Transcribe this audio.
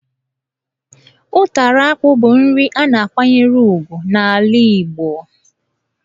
Ụtara akpụ bụ nri a na-akwanyere ugwu n'ala Igbo,